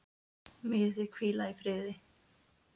Megið þið hvíla í friði.